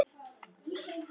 Þessi óvænta opnun